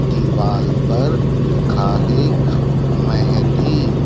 दीवाल पर लिखा है मेहंदी--